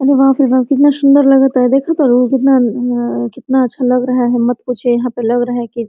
अरे बाप रे बाप कितना सुंदर लागता इ देखा तरु कितना अअ कितना अच्छा लग रहा है मत पूछिए यहाँ पर लग रहा है की--